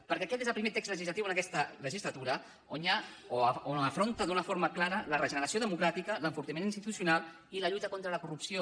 perquè aquest és el primer text legislatiu en aquesta legislatura on hi ha on afronta d’una forma clara la regeneració democràtica l’enfortiment institucional i la lluita contra la corrupció